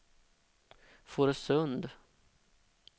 Fårösund